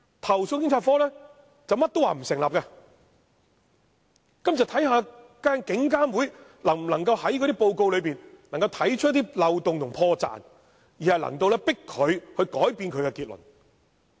投訴警察課甚麼也說不成立，於是警監會要看看能否從報告中找出漏洞和破綻，迫使投訴警察課改變其結論。